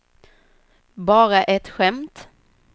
bara ett skämt